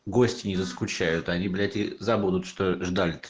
гости не заскучают они забудут что